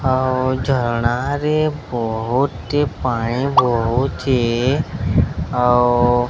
ଝରଣା ରେ ବହୁତି ପାଣି ବହୁଚି। ଆଉ --